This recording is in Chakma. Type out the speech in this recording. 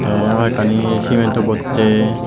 te hoiek kani cement to botte.